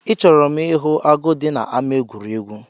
I chọrọ m ihu agụ dị n'ámá egwuregwu?